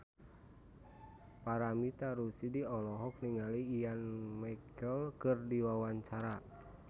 Paramitha Rusady olohok ningali Ian McKellen keur diwawancara